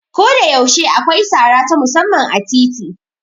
Koda yaushe akwai sara ta musamman a titi.